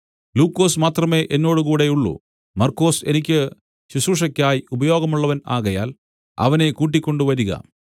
ലൂക്കോസ് മാത്രമേ എന്നോടുകൂടെ ഉള്ളൂ മർക്കൊസ് എനിക്ക് ശുശ്രൂഷയ്ക്കായി ഉപയോഗമുള്ളവൻ ആകയാൽ അവനെ കൂട്ടിക്കൊണ്ട് വരിക